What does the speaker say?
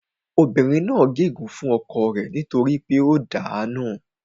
Obìnrin náà gé ègún fún ọkọ rẹ nítorí pé ó dàá nù